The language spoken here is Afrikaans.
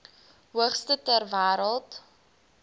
hoogste ter wêreld